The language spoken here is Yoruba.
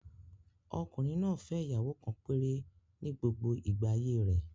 Ọkùnrin náà fẹ́ ìyàwó kan péré ni gbogbo igba ayé rẹ̀